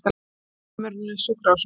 Dvalarheimilinu Sjúkrahúsinu